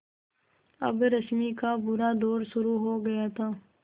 अब रश्मि का बुरा दौर शुरू हो गया था